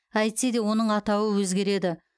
әйтсе де оның атауы өзгереді